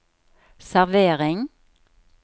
servering